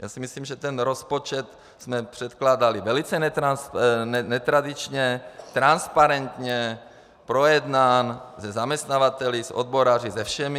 Já si myslím, že ten rozpočet jsme předkládali velice netradičně, transparentně, projednán se zaměstnavateli, s odboráři, se všemi.